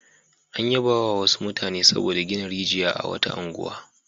An yabawa wasu mutane saboda gina rijiya a wata unguwa.